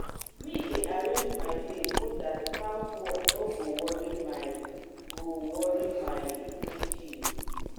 me dey arrange my day so dat house work no go worry my go worry my evening chill.